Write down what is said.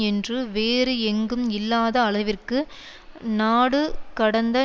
என்றும் வேறு எங்கும் இல்லாத அளவிற்கு நாடுகடந்த